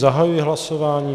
Zahajuji hlasování.